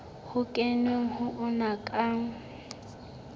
ho kenweng ho ona ka